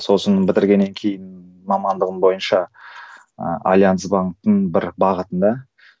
сосын бітіргеннен кейін мамандығым бойынша ыыы альянс банктың бір бағытында